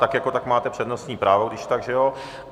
Tak jako tak máte přednostní právo když tak, že jo.